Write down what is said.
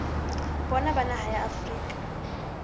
bona ba naha ya afrika